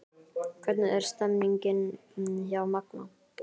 Hvernig er stemningin hjá Magna?